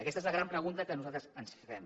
aquesta és la gran pregunta que nosaltres ens fem